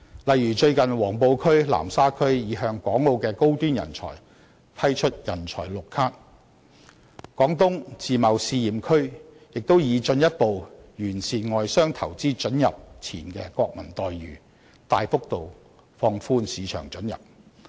例如最近黃埔區、南沙區擬向港澳的高端人才批出"人才綠卡"；廣東自貿試驗區亦擬進一步完善外商投資准入前國民待遇，大幅度放寬市場准入。